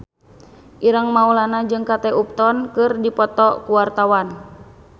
Ireng Maulana jeung Kate Upton keur dipoto ku wartawan